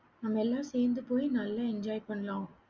நாம எல்லாம் சேந்து போய் நல்லா enjoy பண்ணலாம்